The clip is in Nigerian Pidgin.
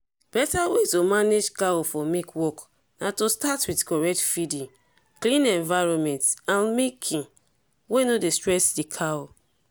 better way to manage cow for milk work na to start with correct feeding clean environment and milking wey no dey stress the cow.